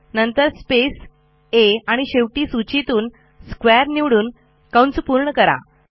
नंतर स्पेस आ आणि शेवटी सूचीतून स्क्वेअर निवडून पूर्ण करा